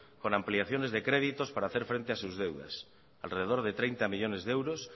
con ampliaciones de créditos para hacer frente a sus deudas alrededor de treinta millónes de euros